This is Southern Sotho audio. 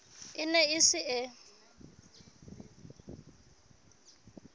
e ne e se e